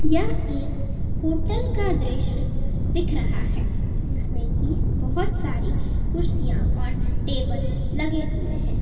यह एक होटल का दृश्य दिख रहा है जिसमें की बहोत सारी कुर्सियां और टेबल लगे हुए हैं।